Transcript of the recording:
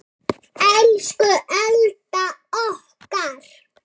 Elsku Alda okkar.